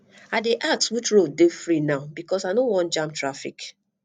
i dey ask which road dey free now because i no wan jam traffic